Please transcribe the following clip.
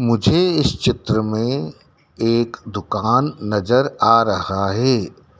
मुझे इस चित्र में एक दुकान नजर आ रहा है